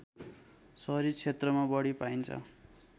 सहरी क्षेत्रमा बढी पाइन्छ